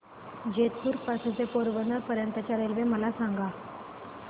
जेतपुर पासून ते पोरबंदर पर्यंत च्या रेल्वे मला सांगा